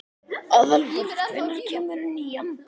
Aðalbert, hvenær kemur nían?